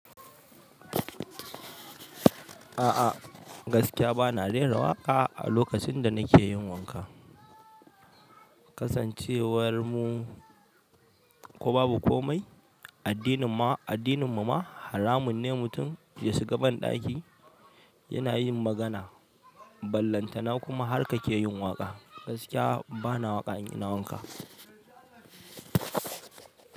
A'a gaskiya bana rera waƙa a lokacin da nake yin wanka. Kasancewar mu ko babu komai, addinin mu ma haramun ne mutum ya shiga banɗaki yana yin magana, ballantana kuma har ka ke yin waƙa. Gaskiya bana waƙa in ina yin wanka.